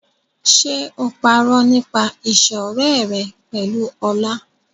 Ṣé o parọ́ nípa ìṣọ̀rẹ́ ẹ pẹ̀lú Ọlá?